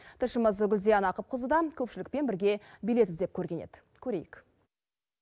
тілшіміз гүлзия нақыпқызы да көпшілікпен бірге билет іздеп көрген еді көрейік